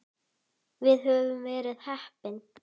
Við höfum verið heppin.